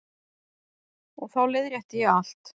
Og þá leiðrétti ég allt.